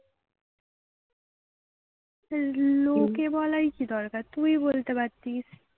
লোকে বলার কি দরকার তুই বলতে পারতিস।